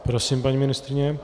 Prosím, paní ministryně.